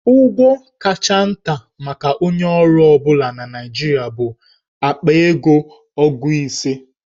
Ụgwọ kacha nta maka onye ọrụ ọ bụla na Naịjirịa bụ akpa ego ogu ise.